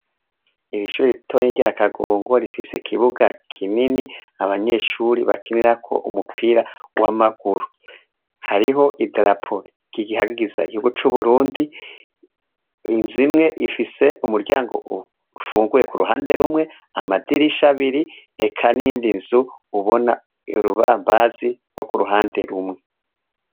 Ishure rito rya Kangongo rifise ikibuga kinini abanyeshure bakinirako umupira w'amaguru, hariho idarapo rihayagiza igihugu c'u Burundi, inzu imwe ifise umuryango umwe ufunguye k'uruhande rumwe, amadirisha abiri, eka n'iyindi nzu ubona urubambazi k'uruhande rumwe.